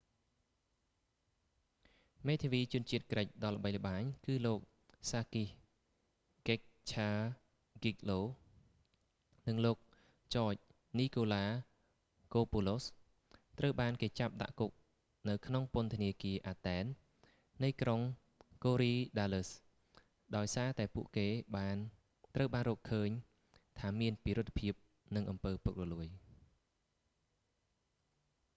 មេធាវីជនជាតិក្រិចដ៏ល្បីល្បាញ គឺលោកសាគីស កិចឆាហ្គីកហ្គ្លូ sakis kechagioglou និងលោក ចច នីកូឡាកូពូឡូស george nikolakopoulos ត្រូវបានគេចាប់ដាក់គុកនៅក្នុងពន្ធនាគារ អាតែន athen នៃក្រុង កូរីដាលឹស korydallus ដោយសារតែពួកគេត្រូវបានរកឃើញថាមានពិរុទ្ធភាពនិងអំពើពុករលួយ